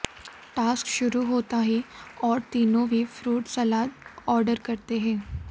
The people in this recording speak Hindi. टास्क शुरू होता ही और तीनों भी फ्रूट सलाद आर्डर करते हैं